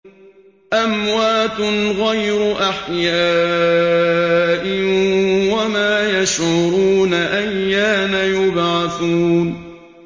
أَمْوَاتٌ غَيْرُ أَحْيَاءٍ ۖ وَمَا يَشْعُرُونَ أَيَّانَ يُبْعَثُونَ